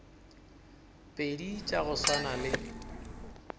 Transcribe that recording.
pedi tša go swana le